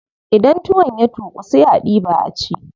Idan tuwon ya tuƙu sai a diɓa a ci.